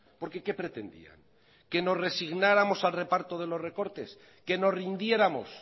porque qué pretendían que nos resignáramos al reparto de los recortes que nos rindiéramos